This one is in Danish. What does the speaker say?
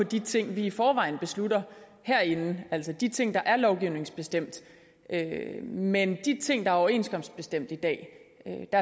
de ting vi i forvejen beslutter herinde altså de ting der er lovgivningsbestemt men hvad de ting der er overenskomstbestemt i dag